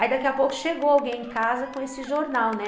Aí daqui a pouco chegou alguém em casa com esse jornal, né?